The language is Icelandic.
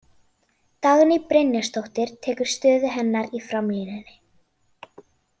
Dagný Brynjarsdóttir tekur stöðu hennar í framlínunni.